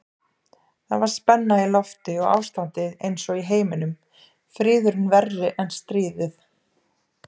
Það var spenna í lofti og ástandið einsog í heiminum, friðurinn verri en stríðið.